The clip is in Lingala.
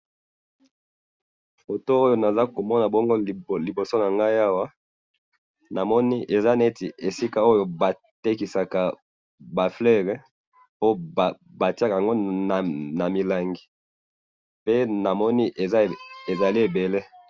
Photo oyo nazali komonabongo liboso na ngai awa namoni eza neti esika oyo batekisaka ba fleurs ,po batiaka yango na milangi pe namoni ezali ebele